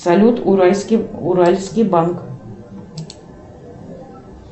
салют уральский банк